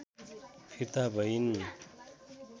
फिर्ता भइन्